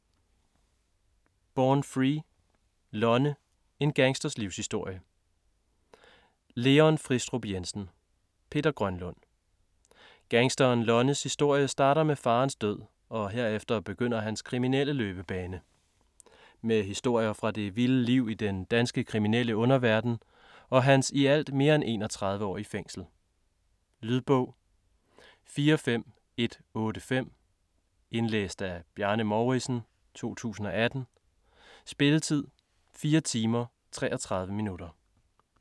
Born free: Lonne - en gangsters livshistorie Leon Fristrup Jensen ; Peter Grønlund Gangsteren Lonnes historie starter med faderens død, og herefter begynder hans kriminelle løbebane. Med historier fra det vilde liv i den danske kriminelle underverden og hans i alt mere end 31 år i fængsel. Lydbog 45185 Indlæst af Bjarne Mouridsen, 2018. Spilletid: 4 timer, 33 minutter.